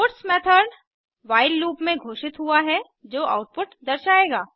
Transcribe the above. puts method while loop में घोषित हुआ है जो आउटपुट दर्शायेगा